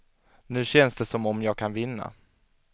Nu känns det som om jag kan vinna.